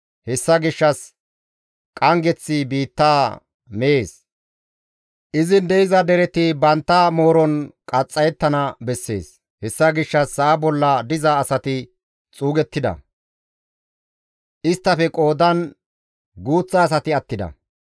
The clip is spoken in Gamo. Hessa gishshas qanggeththi biittaa mees; izin de7iza dereti bantta mooron qaxxayettana bessees; Hessa gishshas sa7a bolla diza asati xuugettida; isttafe qoodan guuththa asati attida.